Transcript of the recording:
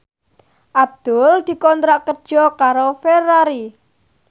Abdul dikontrak kerja karo Ferrari